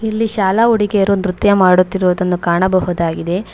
ಇಲ್ಲಿ ಶಾಲಾ ಹುಡುಗಿಯರು ನೃತ್ಯವನ್ನು ಮಾಡುತ್ತಿರುವುದನ್ನು ಕಾಣಬಹುದಾಗಿದೆ.